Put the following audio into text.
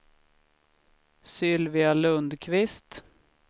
Sylvia Lundkvist